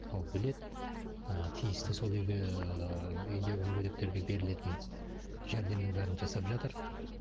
ол біледі ы тиісті сол үйге ыыы үйіндегі мүгедектерге берілетін жәрдемнің бәрін жасап жатыр